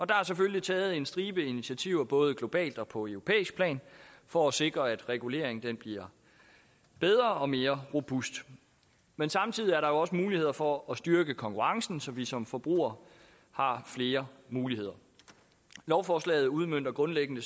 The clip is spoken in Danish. der er selvfølgelig taget en stribe initiativer både globalt og på europæisk plan for at sikre at reguleringen bliver bedre og mere robust men samtidig er der jo også mulighed for at styrke konkurrencen så vi som forbrugere har flere muligheder lovforslaget udmønter grundlæggende